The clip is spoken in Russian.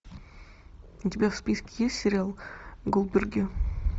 у тебя в списке есть сериал голдберги